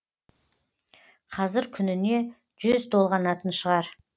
қазір күніне жүз толғанатын шығар